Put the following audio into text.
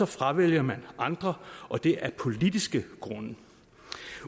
fravælger man andre og det er af politiske grunde